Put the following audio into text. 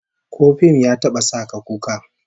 Ko fim ya taba sa ka kuka?